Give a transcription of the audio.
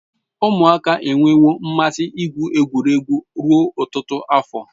Umuaka enwewo mmasi igwu egwuregwu ruo otutu afo